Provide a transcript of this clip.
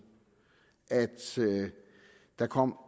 at der kom